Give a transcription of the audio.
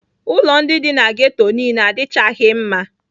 Ụlọ ndị dị na ghetto niile adịchaghị mma.